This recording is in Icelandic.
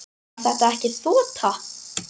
Var þetta ekki þota?